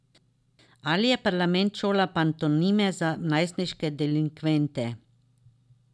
Ali je parlament šola pantomime za najstniške delinkvente?